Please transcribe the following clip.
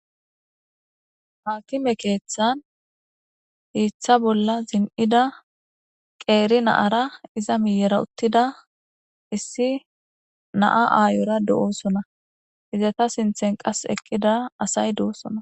Haakime keeththan hiiththa bolla zin'da qeeri naara iza miyera uttida issi naa aayora do'oosona izata sinthen qas eqqida asay do'osona.